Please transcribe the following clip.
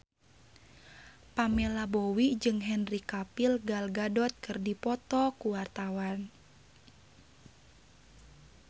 Pamela Bowie jeung Henry Cavill Gal Gadot keur dipoto ku wartawan